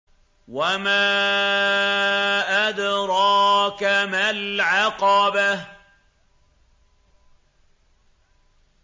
وَمَا أَدْرَاكَ مَا الْعَقَبَةُ